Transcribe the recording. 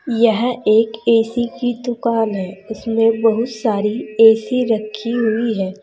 यह एक ए_सी की दुकान है इसमें बहुत सारी ए_सी रखी हुई है।